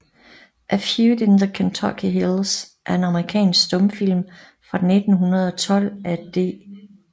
A Feud in the Kentucky Hills er en amerikansk stumfilm fra 1912 af D